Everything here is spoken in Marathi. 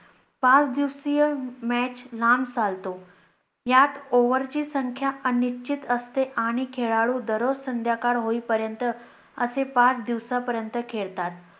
पाच दिवसीय match लांब चालतो, यात over ची संख्या अनिश्चित असते आणि खेळlडू दररोज संध्याकाळ होई पर्यंत असे पाच दिवसा पर्यंत खेळतात.